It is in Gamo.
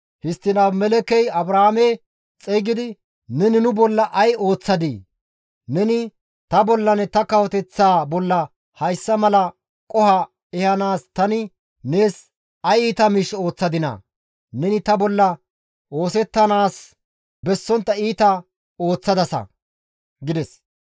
Histtiin Abimelekkey Abrahaame xeygidi, «Neni nu bolla ay ooththadii? Neni ta bollanne ta kawoteththaa bolla hayssa mala qoho ehanaas tani nees ay iita miish ooththadinaa? Neni ta bolla oosettanaas bessontta iita ooththadasa» gides.